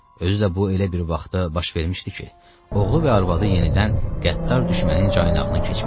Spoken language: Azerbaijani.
Özü də bu elə bir vaxta baş vermişdi ki, oğlu və arvadı yenidən qəddar düşmənin caynağına keçmişdilər.